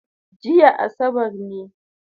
Jiya asabar ne